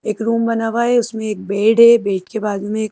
एक रूम बना हुआ है उसमें एक बेड है बेड के बारे में--